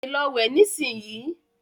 Tètè Lọ wẹ̀ nisinyi!